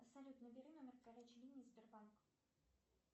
салют набери номер горячей линии сбербанка